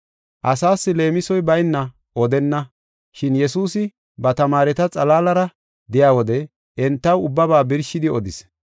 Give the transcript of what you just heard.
Asaas leemisoy bayna odenna. Shin Yesuusi ba tamaareta xalaalara de7iya wode, entaw ubbaba birshidi odis.